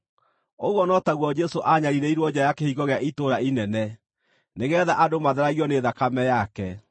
Ũguo no taguo Jesũ aanyariirĩirwo nja ya kĩhingo gĩa itũũra inene, nĩgeetha andũ matheragio nĩ thakame yake.